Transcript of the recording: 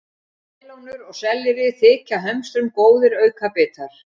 Melónur og sellerí þykja hömstrum góðir aukabitar.